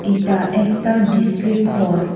এটা একটা ডিস্ট্রিক হল ।